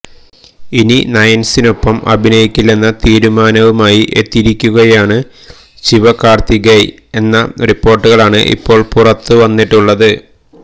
ഇനി നയന്സിനൊപ്പം അഭിനയിക്കില്ലെന്ന തീരുമാനവുമായി എത്തിയിരിക്കുകയാണ് ശിവകാര്ത്തികേയനെന്ന റിപ്പോര്ട്ടുകളാണ് ഇപ്പോള് പുറത്തുവന്നിട്ടുള്ളത്